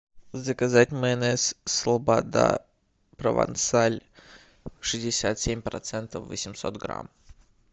заказать майонез слобода провансаль шестьдесят семь процентов восемьсот грамм